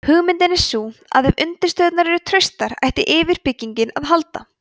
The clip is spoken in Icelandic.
hugmyndin er sú að ef undirstöðurnar eru traustar ætti yfirbyggingin að haldast